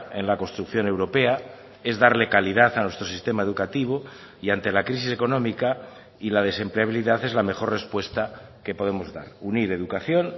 en la construcción europea es darle calidad a nuestro sistema educativo y ante la crisis económica y la desempleabilidad es la mejor respuesta que podemos dar unir educación